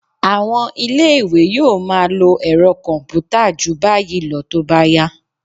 À̀wọn ilé-ìwé yóò máa lo ẹ̀rọ kọ̀m̀pútà jù báyìí lọ tó bá yá